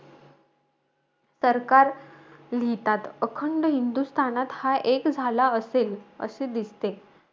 सरकार लिहितात, अखंड हिंदुस्थानात, हा एक झाला असेल, असे दिसते.